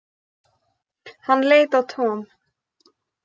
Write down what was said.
Hann leit á Tom.